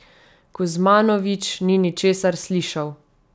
Kuzmanović ni ničesar slišal.